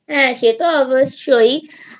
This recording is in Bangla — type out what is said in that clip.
সে তো অবশ্যই